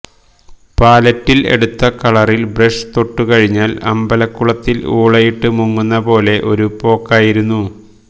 പാലറ്റിൽ എടുത്ത കളറിൽ ബ്രഷ് തൊട്ടു കഴിഞ്ഞാൽ അമ്പലകുളത്തിൽ ഊളിയിട്ട് മുങ്ങുന്ന പോലെ ഒരു പോക്കായിരുന്നു